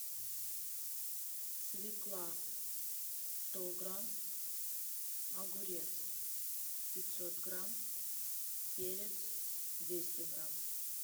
свекла сто грамм огурец пятьсот грамм перец двести грамм